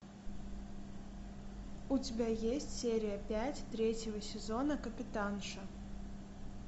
у тебя есть серия пять третьего сезона капитанша